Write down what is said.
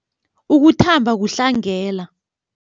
Ukuthamba kuhlangela.